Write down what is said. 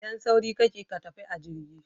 Idan sauri kake ka tafi a jirgi